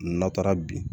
N'a taara bi